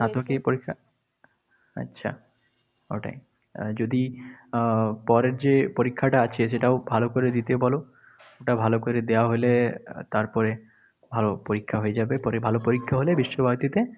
স্নাতকোত্তর পরীক্ষা? আচ্ছা। ওটাই, যদি আহ পরের যে পরীক্ষাটা আছে সেটাও ভালো করে দিতে বলো। ওটা ভালো করে দেওয়া হলে তারপরে ভালো পরীক্ষা হয়ে যাবে। পরে ভালো পরীক্ষা হলে বিশ্বভারতীতে